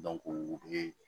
u bɛ